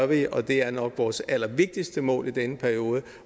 vi og det er nok vores allervigtigste mål i den periode